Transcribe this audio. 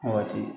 Waati